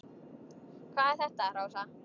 Hvað er þetta, Rósa?